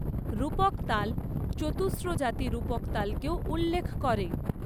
রূপক তাল চতুস্র জাতি রূপক তালকেও উল্লেখ করে।